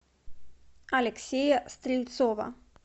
алексея стрельцова